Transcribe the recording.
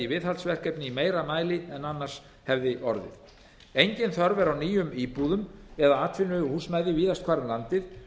viðhaldsverkefni í meira mæli en annars hefði orðið engin þörf er á nýjum íbúðum eða atvinnuhúsnæði víðast hvar um